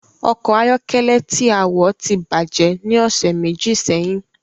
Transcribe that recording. Ọkọ̀ ayọ́kẹ́lẹ́ tí a wọ̀ ti bàjẹ́ ni ọ̀sẹ̀ méjì sẹ́yìn